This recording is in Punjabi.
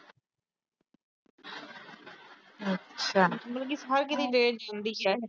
ਮਤਲਬ ਵੀ ਹਰ ਕਿਤੇ train ਜਾਂਦੀ ਆ।